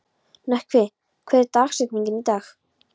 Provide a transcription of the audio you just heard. Nökkvi, hver er dagsetningin í dag?